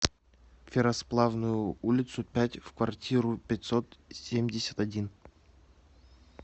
ферросплавную улицу пять в квартиру пятьсот семьдесят один